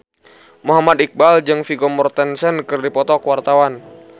Muhammad Iqbal jeung Vigo Mortensen keur dipoto ku wartawan